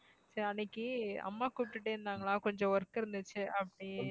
சரி அன்னைக்கு அம்மா கூப்பிட்டுட்டே இருந்தாங்களா கொஞ்சம் work இருந்துச்சு அப்படி